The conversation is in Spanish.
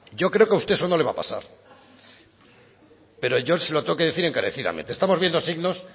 yo creo que a usted eso no le va a pasar pero yo se lo tengo que decir encarecidamente estamos viendo signos